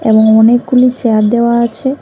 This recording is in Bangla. এবং অনেকগুলি চেয়ার দেওয়া আছে।